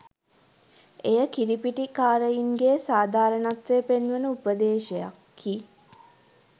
එය කිරිපිටි කාරයින්ගේ සාධාරණත්වය පෙන්වන උපදේශයකි.